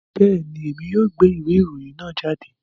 Bẹẹni, Èmi yóò gbé ìwé ìròyìn náà jáde